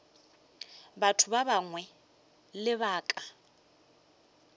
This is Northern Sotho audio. batho ba bangwe ka lebaka